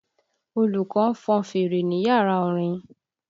Olùkọ́ ń fọn fèrè ní yàrá orin